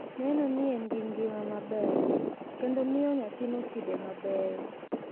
Neno ni en gi ngima maber, kendo miyo nyathino kido mabeyo,